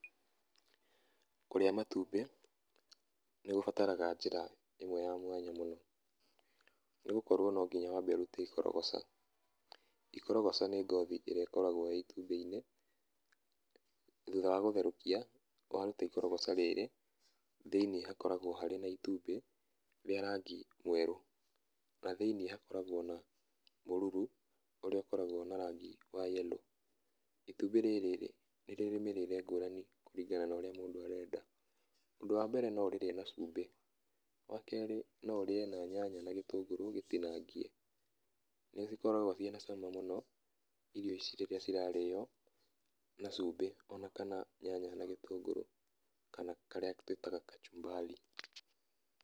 Kũrĩa matumbĩ nĩ gũbataraga njĩra ĩmwe ya mwanya mũno nĩ gũkorwo no nginya wambe ũrute ikorogoca. Ikorogoca nĩ ngothi ĩrĩa ĩkoragwo ĩ itumbĩ-inĩ. Thutha wa gũtherũkia, waruta ikorogoca rĩrĩ, thĩiniĩ hakoragwo harĩ na itumbĩ rĩa rangi mwerũ na thĩiniĩ hakoragwo na mũruru ũrĩa ũkoragwo na rangĩ wa yerũ. Itumbĩ rĩrĩ nĩ rĩrĩ mĩrĩre ngũrani kũringana na ũrĩa mũndũ arenda. Ũndũ wa mbere no ũrĩrĩe na cumbĩ, wa kerĩ no ũrĩe na nyanya na gĩtũngũrũ gĩtinangie. Nĩ ikoragwo ciĩ na cama mũno irio ici rĩrĩa cirarĩo na cumbĩ kana nyanya na gĩtũngũrũ kana karĩa twĩtaga kachubari.